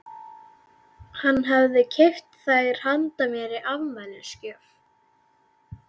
Hann hafði keypt þær handa mér í afmælisgjöf.